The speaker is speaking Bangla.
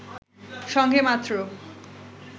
সঙ্গে মাত্র